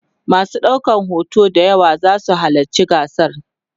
masu ɗaukan hoto d yawa zasu halatci gasar